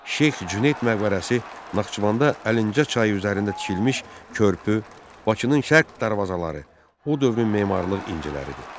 Şeyx Cüneyd məqbərəsi, Naxçıvanda Əlincə çayı üzərində tikilmiş körpü, Bakının şərq darvazaları o dövrün memarlıq inciləridir.